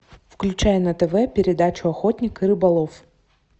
включай на тв передачу охотник и рыболов